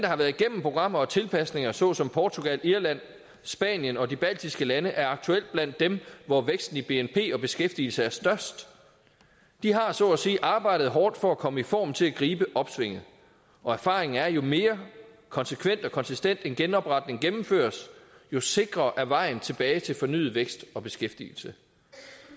har været igennem programmer og tilpasninger såsom portugal irland spanien og de baltiske lande er aktuelt blandt dem hvor væksten i bnp og beskæftigelse er størst de har så at sige arbejdet hårdt for at komme i form til at gribe opsvinget erfaringen er at jo mere konsekvent og konsistent en genopretning gennemføres jo sikrere er vejen tilbage til fornyet vækst og beskæftigelse